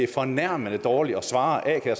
fornærmende dårligt at svare